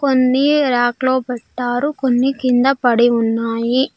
కొన్ని ర్యాక్ లో పెట్టారు కొన్ని కింద పడి ఉన్నాయి.